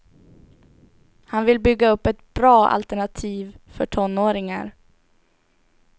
Han vill bygga upp ett bra alternativ för tonåringar.